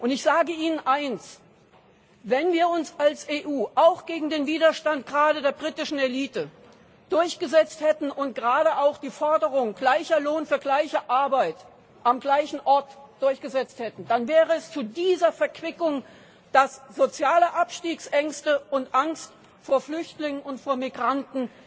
Ich sage Ihnen eines Wenn wir uns als EU auch gegen den Widerstand gerade der britischen Elite durchgesetzt hätten und gerade auch die Forderung gleicher Lohn für gleiche Arbeit am gleichen Ort durchgesetzt hätten, dann wäre es zu dieser Verquickung soziale Abstiegsängste und Angst vor Flüchtlingen und vor Migranten